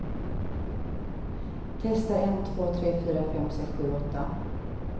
Testar en två tre fyra fem sex sju åtta.